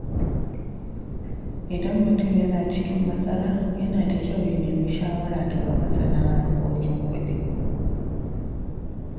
Idan mutum yana cikin matsala, yana da kyau ya nemi shawara daga masana harkokin kuɗi.